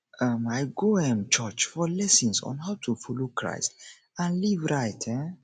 um i go um church for lessons on how to follow christ and live right um